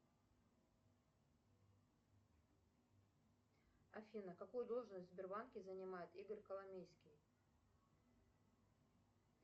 афина какую должность в сбербанке занимает игорь коломейский